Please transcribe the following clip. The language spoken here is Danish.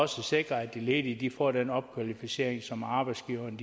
sikre at de ledige får den opkvalificering som arbejdsgiverne